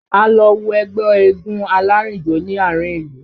A lọ wo ẹgbẹ́ eégún alárìnjó ní àárín ìlú